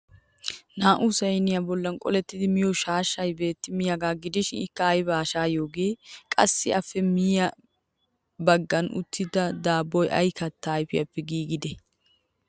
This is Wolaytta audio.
Naa'u sayniyaa bollan qolettida miyo shaashshay beettemiyaagaa gidishin ikka aybaa shayoogee? Qassi appe miyye baggan uttida daaboy ay kattaa ayfiyafe giigide?